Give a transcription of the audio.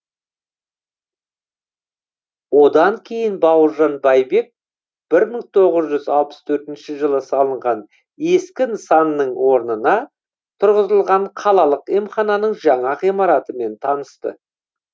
одан кейін бауыржан байбек бір мың тоғыз жүз алпыс төртінші жылы салынған ескі нысанның орнына тұрғызылған қалалық емхананың жаңа ғимаратымен танысты